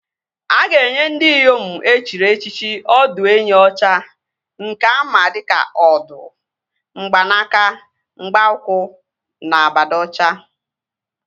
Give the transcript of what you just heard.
A ga-enye ndị Iyom e chiri echichi ọdụenyi ọcha nke ama dịka Ọdụ, mgbanaka, mgba ụkwụ na abada ọcha